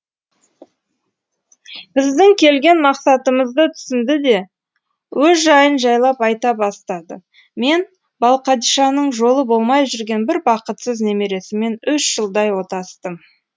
біздің келген мақсатымызды түсінді де өз жайын жайлап айта бастады мен балқадишаның жолы болмай жүрген бір бақытсыз немересімен үш жылдай отастым